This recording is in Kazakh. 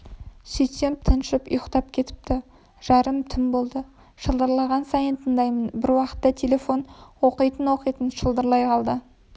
сөйтсем тыншып ұйықтап кетіпті жарым түн болды шылдырлаған сайын тыңдаймын бір уақытта телефон оқтын-оқтын шылдырлай қалды